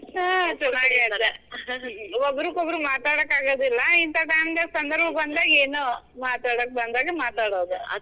ಹಾ. ಒಬ್ಬರ್ಕೊಬ್ಬರು ಮಾತಾಡಾಕ್ ಅಗೋದಿಲ್ಲಾ. ಇಂತಾ time ದಾಗ ಸಂದರ್ಭ ಬಂದಾಗ ಏನೋ ಮಾತಾಡೋಕ್ ಬಂದಾಗ ಮಾತಾಡೋದ್.